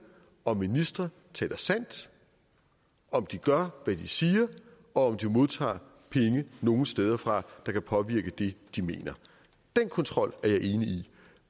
om ministre taler sandt om de gør hvad de siger og om de modtager penge nogle steder fra der kan påvirke det de mener den kontrol er jeg enig i